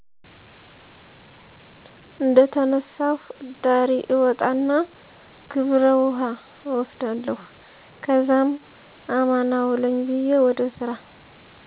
እደተነሳሁ እዳሪ እወጣና ግብረ ውሀ እወስዳለሁ ከዛም አማን አውለኝ ብየ ወደ ሰራ